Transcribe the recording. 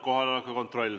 Kohaloleku kontroll.